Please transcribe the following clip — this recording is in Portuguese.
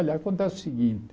Olha, acontece o seguinte.